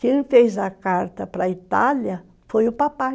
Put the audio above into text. Quem fez a carta para a Itália foi o papai.